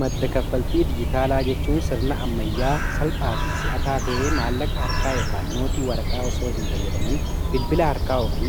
madda kaffaltii dijitaalaa jechuun sirna ammayyaa salphaa fi si'ataa ta'ee maallaqa harkaa yookii nootii waraqaa osoo hin fayyadaman bilbila harkaa'u fi